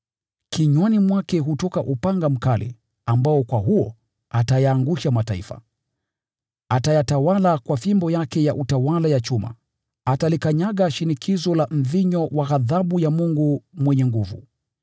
Kinywani mwake hutoka upanga mkali ambao kwa huo atayaangusha mataifa. “Atayatawala kwa fimbo yake ya utawala ya chuma.” Hulikanyaga shinikizo la mvinyo wa ghadhabu ya Mungu Mwenyezi.